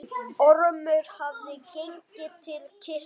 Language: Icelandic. Ormur hafði gengið til kirkju.